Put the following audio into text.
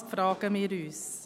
Das fragen wir uns.